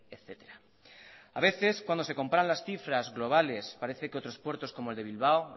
etcétera a veces cuando se comparan las cifras globales parece que otros puertos como el de bilbao